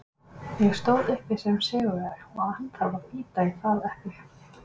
Ég stóð uppi sem sigurvegari og hann þarf að bíta í það epli.